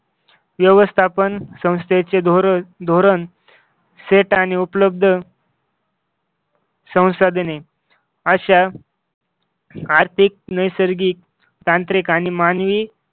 व्यवस्थापन संस्थेचे धोरण धोरण सेट आणि उपलब्ध संसाधने अशा आर्थिक नैसर्गिक तांत्रिक आणि मानवी